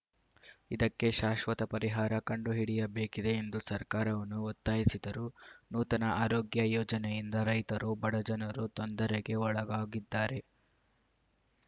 ಇದಕ್ಕೆ ಶಾಶ್ವತ ಪರಿಹಾರ ಕಂಡುಹಿಡಿಯಬೇಕಿದೆ ಎಂದು ಸರ್ಕಾರವನ್ನು ಒತ್ತಾಯಿಸಿದರು ನೂತನ ಆರೋಗ್ಯ ಯೋಜನೆಯಿಂದ ರೈತರು ಬಡಜನರು ತೊಂದರೆಗೆ ಒಳಗಾಗಿದ್ದಾರೆ